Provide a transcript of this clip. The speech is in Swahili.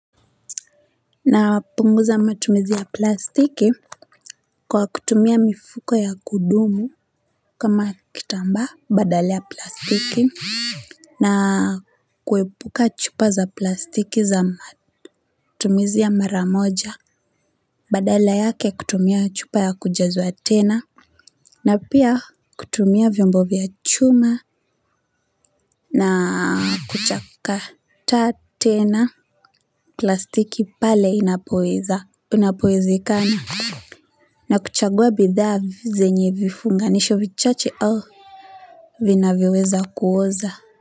Na punguza matumizi ya plastiki kwa kutumia mifuko ya kudumu kama kitamba badala ya plastiki na kuepuka chupa za plastiki za matumizi ya mara moja badala yake kutumia chupa ya kujazwa tena na pia kutumia vyombo vya chuma na kuchakata tena plastiki pale inapoweza inapowezekana na kuchagua bidhaa zenye vifunganisho vichache au vinavyoweza kuoza.